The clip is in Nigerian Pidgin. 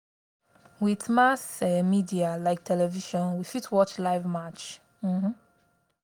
with mass um media like television we fit watch live match um